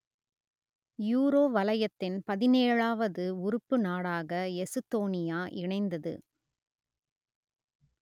euro வலயத்தின் பதினேழுவது உறுப்பு நாடாக எசுத்தோனியா இணைந்தது